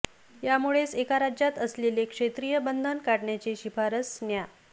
यामुळेच एका राज्यात असलेले क्षेत्रीय बंधन काढण्याची शिफारस न्या